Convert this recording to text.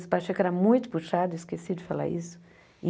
O Espacheco era muito puxado, esqueci de falar isso.